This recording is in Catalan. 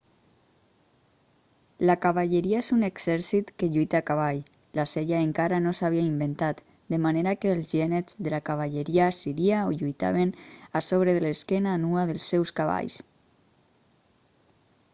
la cavalleria és un exèrcit que lluita a cavall la sella encara no s'havia inventat de manera que els genets de la cavalleria assíria lluitaven a sobre de l'esquena nua dels seus cavalls